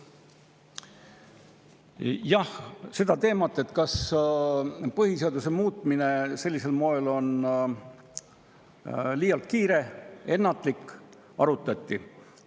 Jah, seda teemat, kas põhiseaduse muutmine sellisel moel on liialt kiire ja ennatlik, arutati.